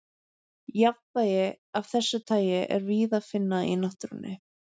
Jafnvægi af þessu tagi er víða að finna í náttúrunni.